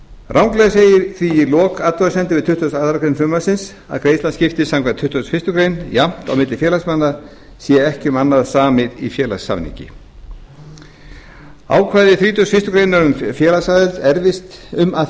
ranglega segir því í lok athugasemda við tuttugustu og aðra grein frumvarpsins að greiðslan skiptist samkvæmt tuttugustu og fyrstu grein jafnt á milli félagsmanna sé ekki um annað samið í félagssamningi ákvæði þrítugustu og fyrstu grein um að